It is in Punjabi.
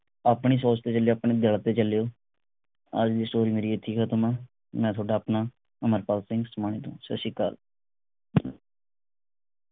ਆਪਣੀ ਸੋਚ ਤੇ ਚਲਿਓ ਆਪਣੇ ਦਿਲ ਤੇ ਚਲਿਓ। ਅੱਜ ਦੀ ਸੋਚ ਮੇਰੀ ਇਥੇ ਹੀ ਖਤਮ ਆ। ਮੈਂ ਥੋਡਾ ਆਪਣਾ ਅਮਰਪਾਲ ਸਿੰਘ ਉਸਮਾਣੇ ਤੋਂ। ਸੱਤ ਸ਼੍ਰੀ ਅਕਾਲ